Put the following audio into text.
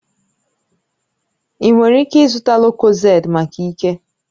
Ị nwere ike ịzụta lucozade maka ike